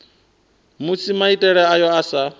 musi maitele ayo a sa